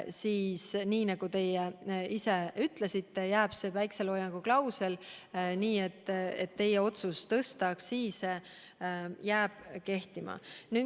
Läheb nii, nagu te ise ütlesite, see päikeseloojangu klausel ehk teie otsus tõsta aktsiise jääb kehtima.